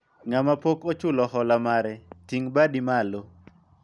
ng'ama pok ochulo hola mare ,ting' badi malo